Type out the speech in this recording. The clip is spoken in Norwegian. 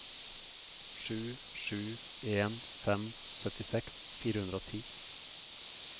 sju sju en fem syttiseks fire hundre og ti